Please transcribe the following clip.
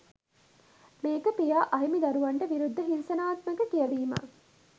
මේක පියා අහිමි දරුවන්ට විරුද්ධ හිංසනාත්මක කියවීමක්.